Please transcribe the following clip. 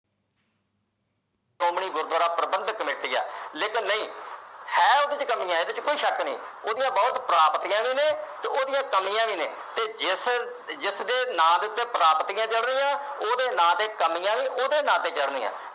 Gurdwara Prabandhak committee ਹੈ ਲੇਕਿਨ ਨਹੀ ਹੈ ਉਹਦੇ ਵਿਚ ਕਮੀਆਂ ਇਸ ਵਿਚ ਕੋਈ ਸ਼ੱਕ ਨਹੀਂ ਉਹਦੀਆਂ ਬਹੁਤ ਪ੍ਰਾਪਤੀਆਂ ਵੀ ਨੇ ਤੇ ਉਹਦੀਆਂ ਕਮੀਆਂ ਵੀ ਨੇ ਤੇ ਜਿਸ ਜਿਸ ਦੇ ਨਾਂ ਦੇ ਉਤੇ ਪ੍ਰਾਪਤੀਆਂ ਜਰਨੀਆਂ ਉਹਦੇ ਦੇ ਨਾਂ ਉਤੇ ਕਮੀਆਂ ਵੀ ਉਹਦੇ ਨਾਂ ਤੇ ਜਰਨੀਆਂ